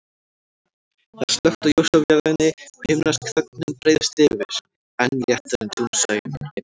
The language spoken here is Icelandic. Það er slökkt á ljósavélinni og himnesk þögnin breiðist yfir, enn léttari en dúnsængin.